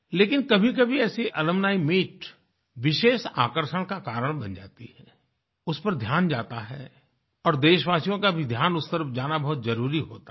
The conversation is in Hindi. लेकिन कभीकभी ऐसी अलुम्नी मीत विशेष आकर्षण का कारण बन जाती है उस पर ध्यान जाता है और देशवासियों का भी ध्यान उस तरफ जाना बहुत जरुरी होता है